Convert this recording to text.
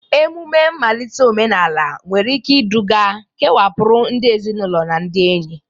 Ememe mmalite omenala nwere ike iduga kewapụrụ ndị ezinụlọ na ndị enyi